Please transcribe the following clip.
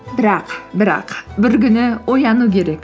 бірақ бірақ бір күні ояну керек